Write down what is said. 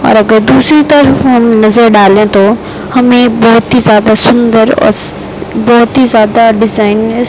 और अगर दूसरी तरफ हम नजर डालें तो हमें बहुत ही ज्यादा सुंदर और बहुत ही ज्यादा डिजाइनर्स --